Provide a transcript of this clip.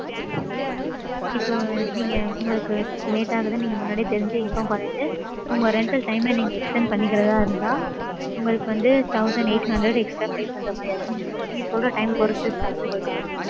இப்போ நீங்க உங்களுக்கு late ஆகுதுன்னு நீங்க முன்னாடியே தெரிஞ்சு inform பன்னிட்டு உங்க rental time ம நீங்க extend பன்னிக்கிறதா இருந்தா உங்களுக்கு வந்து thousand eight hundred extra pay பன்ற மாதிரி ஆயிடும் நீங்க ~ நீங்க சொல்ற time பொறுத்து chargeable உங்களுக்கு ஆகும்.